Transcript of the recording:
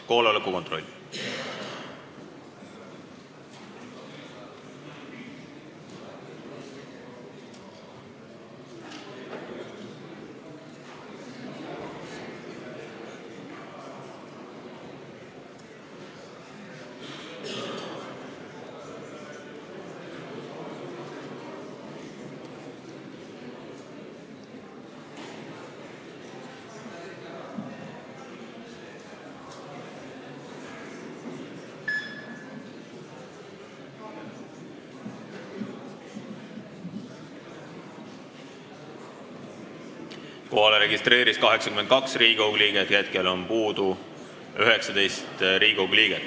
Kohaloleku kontroll Kohalolijaks registreerus 82 Riigikogu liiget, puudub 19 Riigikogu liiget.